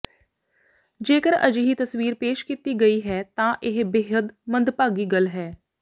ਜੇਕਰ ਅਜਿਹੀ ਤਸਵੀਰ ਪੇਸ਼ ਕੀਤੀ ਗਈ ਹੈ ਤਾਂ ਇਹ ਬੇਹੱਦ ਮੰਦਭਾਗੀ ਗੱਲ ਹੈ